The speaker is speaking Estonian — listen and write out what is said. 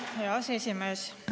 Hea aseesimees!